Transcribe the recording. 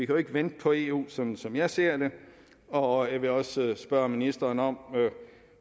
jo ikke vente på eu sådan som jeg ser det og jeg vil også spørge ministeren om